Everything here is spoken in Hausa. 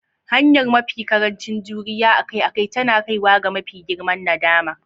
Hanyar mafi ƙarancin juriya akai-akai tana kaiwa ga mafi girman nadama.